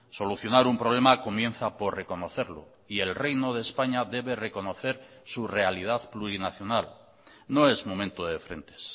solucionar un problema comienza por reconocerlo y el reino de españa debe reconocer su realidad plurinacional no es momento de frentes